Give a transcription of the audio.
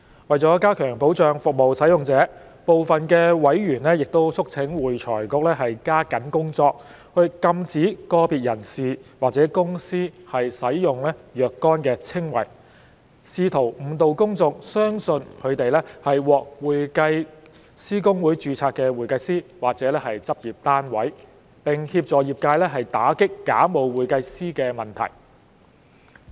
為加強保障服務使用者，部分委員促請會財局加緊工作，禁止個別人士或公司使用若干稱謂，試圖誤導公眾相信他們是獲會計師公會註冊的會計師或執業單位，並協助業界打擊假冒會計師的問題。